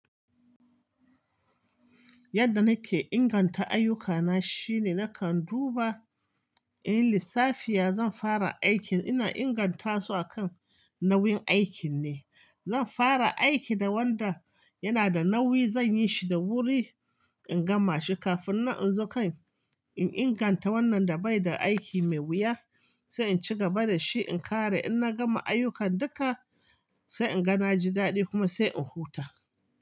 Yadda nake inganta ayyukana shine nakan duba in lissafi ya zan fara aikin ina inganta su akan nauyin aikin ne. Zan fara aiki da wanda yana da nauyi zan yi shi da wuri in gama shi kafin nan inzo kan in inganta wannan da bai da aiki mai wuya sai in ci gaba da shi in kare. In na gama ayyukan duka sai in ga na ji dadi kuma sai in huta.